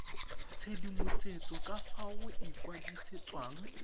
tshedimosetso ka fa go ikwadisetswang